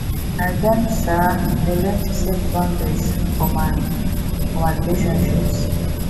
i don um dey learn to set boundaries for my for my relationships